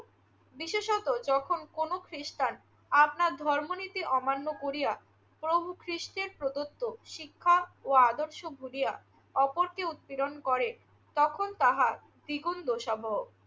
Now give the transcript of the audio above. বিশেষত যখন কোনো খ্রিষ্টান আপনার ধর্মনীতি অমান্য করিয়া প্রভু খ্রিষ্টের প্রদত্ত শিক্ষা ও আদর্শ ভুলিয়া অপরকে উৎপীড়ন করে তখন তাহা দ্বিগুণ দোষাবহ।